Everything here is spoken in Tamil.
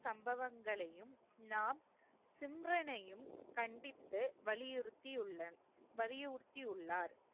சம்பவங்களையும் நாம் கண்டித்து வலியுறுத்தியுள்ளன் வலியுறுத்தியுள்ளார்